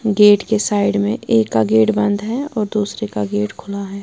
Gate के side में एक का गेट बंद है और दूसरे का गेट खुला है।